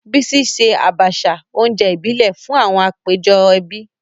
Bísí ṣe Àbàṣà, oúnjẹ ìbílẹ̀, fún àwọn àpéjọ ẹbí.